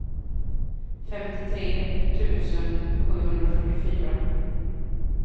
femtiotre tusen sjuhundrafyrtiofyra